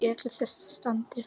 Í öllu þessu standi.